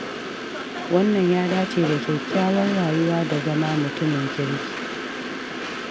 Wannan ya dace da kyakkyawar rayuwa da zama mutumin kirki.